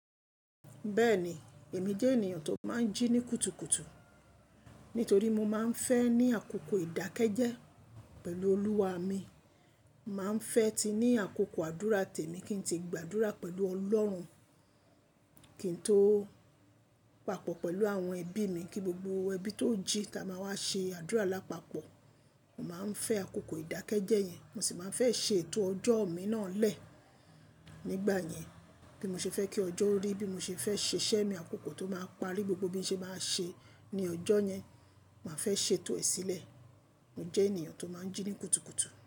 Bẹ́ẹ̀ni, èmi jẹ́ ènìyàn tó máa ń jí ní kùtùkùtù. Nítorí mo máa ń fẹ́ ní àkókò ìdákẹ́jẹ́ pẹ̀lú Olúwa mi. Máa ń fẹ́ ti ní àkókò àdúrà tèmi kí n tíì gba àdúrà pẹ̀lú Ọlọ́run, kí n tó papọ̀ pẹ̀lú àwọn ẹbí mi kí gbogbo ẹbí tó jí ta máa wá ṣe àdúrà lápapọ̀. Mo máa ń fẹ́ àkókò ìdákẹ́jẹ́ yẹn. Mo sì máa ń fẹ́ ṣe ètò ọjọ́ mi náà lẹ́ẹ̀. Nígbà yẹn bí mo ṣe fẹ́ kí ọjọ́ rí, bí mo ṣe fẹ́ ṣe iṣẹ́ mi, àkókò tó máa parí, gbogbo bí mo ṣe máa ṣe ní ọjọ́ yẹn, màá fẹ́ ṣe ètò sìlẹ̀. Mo jẹ́ ènìyàn tó máa ń jí ní kùtùkùtù.